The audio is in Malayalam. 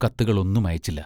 കത്തുകൾ ഒന്നും അയച്ചില്ല.